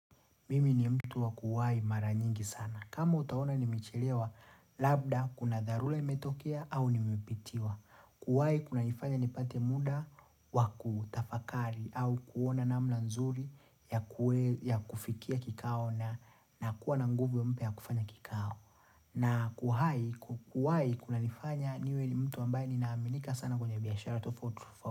Mimi ni mtu wa kuwai mara nyingi sana. Kama utaona nimechelewa labda, kuna dharura imetokia au nimepitiwa. Kuwai kuna nifanya nipate muda wakutafakari au kuona nama nzuri ya kufikia kikao na kuwa na nguvu mpya ya kufanya kikao. Na kuwai kuna nifanya niwe ni mtu ambaye ni naaminika sana kwenye biashara tofauti.